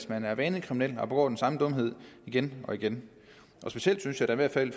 man er vanekriminel og begår den samme dumhed igen og igen specielt synes jeg da i hvert fald